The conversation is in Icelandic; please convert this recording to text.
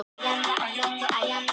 Höft skaða atvinnulíf